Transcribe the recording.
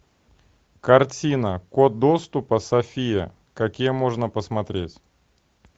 картина код доступа софия какие можно посмотреть